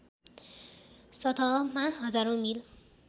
सतहमा हजारौँ मिल